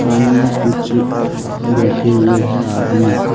सामने कुछ बैठे हुए हैं आदमी।